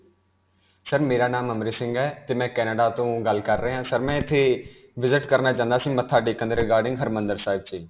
sir, ਮੇਰਾ ਨਾਮ ਅਮ੍ਰਿਤ ਸਿੰਘ ਹੈ, ਤੇ ਮੈਂ Canada ਤੋਂ ਗੱਲ ਕਰ ਰਿਹਾ ਹਾਂ. sir, ਮੈਂ ਇਥੇ visit ਕਰਨਾ ਚਾਹੁੰਦਾ ਸੀ, ਮੱਥਾ ਟੇਕਣ ਦੇ regarding ਹਰਿਮੰਦਰ ਸਾਹਿਬ 'ਚ.